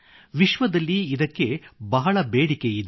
ವಿಶ್ವದಲ್ಲಿ ಇದಕ್ಕೆ ಬಹಳ ಬೇಡಿಕೆಯಿದೆ